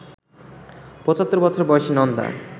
৭৫ বছর বয়সী নন্দা